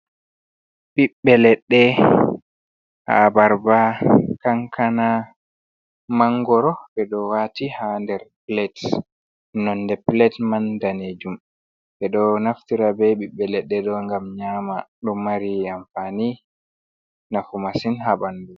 Ɓiɓbe leɗɗe abarba, kankana, mangoro, ɓe ɗo wati ha nder plate, nonde plate man danejum be ɗo naftira be ɓibbe leɗɗe ɗo gam nyama ɗo o mari amfani nafu massin ha ɓandu.